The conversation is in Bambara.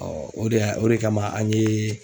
o de y'a o de kama an ye.